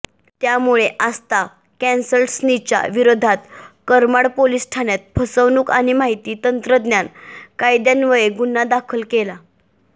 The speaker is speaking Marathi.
त्यामुळे आस्था कन्सल्टन्सीच्या विरोधात करमाड पोलीस ठाण्यात फसवणूक आणि माहिती तंत्रज्ञान कायद्यान्वये गुन्हा दाखल केला